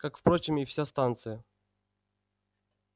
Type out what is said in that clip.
как впрочем и вся станция